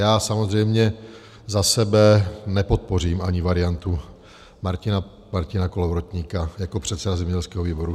Já samozřejmě za sebe nepodpořím ani variantu Martina Kolovratníka jako předseda zemědělského výboru.